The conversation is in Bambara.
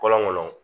Kɔlɔnkɔnɔ